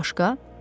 bəs başqa?